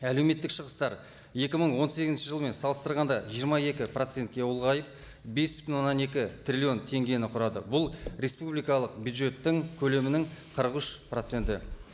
әлеуметтік шығыстар екі мың он сегізінші жылмен салыстырғанда жиырма екі процентке ұлғайып бес бүтін оннан екі триллион теңгені құрады бұл республикалық бюджеттің көлемінің қырық үш проценті